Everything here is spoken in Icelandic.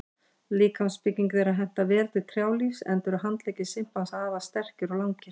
Líkamsbygging þeirra hentar vel til trjálífs enda eru handleggir simpansa afar sterkir og langir.